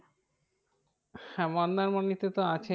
হ্যাঁ মন্দারমণিতে তো আছে